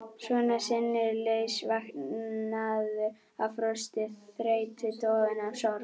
Svona sinnulaus, vankaður af frosti, þreytu, dofinn af sorg.